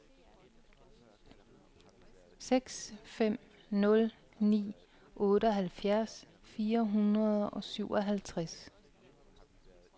seks fem nul ni otteoghalvfjerds fire hundrede og syvoghalvtreds